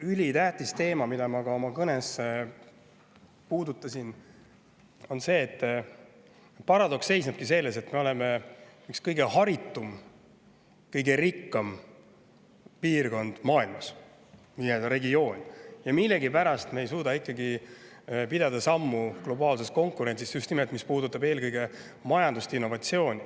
Ülitähtis teema, mida ma ka oma kõnes puudutasin, on see paradoks, et me oleme üks harituim ja rikkaim piirkond, regioon maailmas, aga millegipärast ei suuda me ikkagi sammu pidada globaalses konkurentsis, just nimelt sellises, mis puudutab majandust ja innovatsiooni.